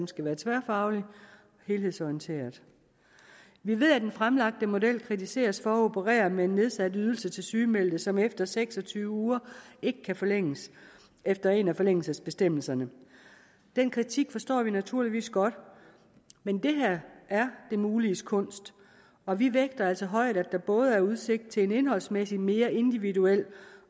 skal være tværfaglig og helhedsorienteret vi ved at den fremlagte model kritiseres for at operere med en nedsat ydelse til sygemeldte som efter seks og tyve uger ikke kan forlænges efter en af forlængelsesbestemmelserne den kritik forstår vi naturligvis godt men det her er det muliges kunst og vi vægter det altså højt at der både er udsigt til en indholdsmæssigt mere individuel